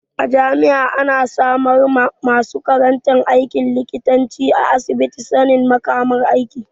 A jami'a ana samar ma masu karantan aikin likita asibitin sanin makamar aiki.